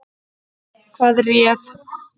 Hvað réð?